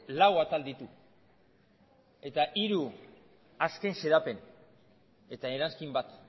lau atal ditu eta hiru azken xedapen eta eranskin bat